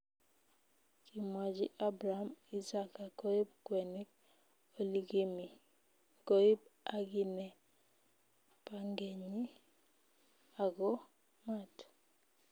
Kimwachi Abraham Isaka koib kwenik oligimi, goib agine pangenyi ago maat